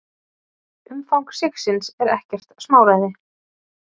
Umfang sigsins er ekkert smáræði.